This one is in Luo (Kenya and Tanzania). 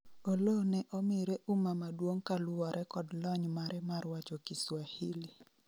Oloo ne omire uma maduong' kaluwore kod lony mare mar wacho kiswahili